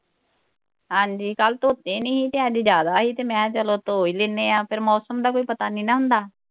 ਹਾਂਜੀ ਕੱਲ ਧੋਤੇ ਨੀ ਹੀ ਤੇ ਅੱਜ ਜਿਆਦਾ ਹੀ ਤੇ ਮੈਂ ਚੱਲੋ ਧੋ ਈ ਦਿੰਨੇ ਆ ਫੇਰ ਮੌਸਮ ਦਾ ਵੀ ਕੋਈ ਪਤਾ ਨਹੀਂ ਨਾ ਹੁੰਦਾ